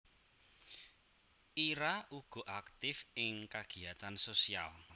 Ira uga aktif ing kagiyatan sosial